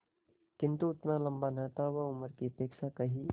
किंतु उतना लंबा न था वह उम्र की अपेक्षा कहीं